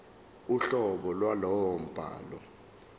uhlobo lwalowo mbhalo